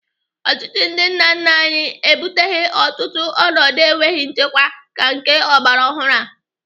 Ọchịchị ndị nna nna anyị ebuteghị ọtụtụ ọnọdụ enweghị nchekwa ka nke ọgbaraọhụrụ a.